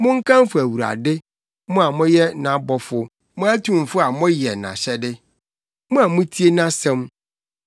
Monkamfo Awurade, mo a moyɛ nʼabɔfo, mo atumfo a moyɛ nʼahyɛde, mo a mutie nʼasɛm.